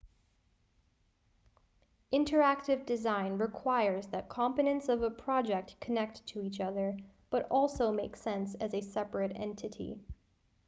interactive design requires that components of a project connect to each other but also make sense as a separate entity